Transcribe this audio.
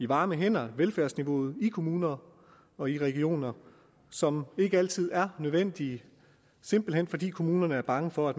varme hænder i velfærdsniveauet i kommuner og i regioner som ikke altid er nødvendig simpelt hen fordi kommunerne er bange for at